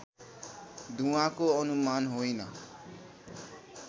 धुवाँको अनुमान होइन